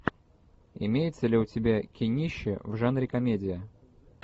имеется ли у тебя кинище в жанре комедия